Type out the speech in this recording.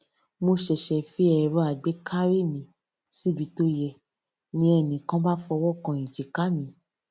mo ṣèṣè fi èrọ àgbékarí mi síbi tó yẹ ni ẹnì kan bá fọwó kan èjìká mi